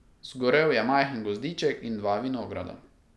Zgorel je majhen gozdiček in dva vinograda.